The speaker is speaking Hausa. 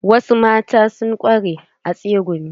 Wasu mata sun ƙware a tsegumi.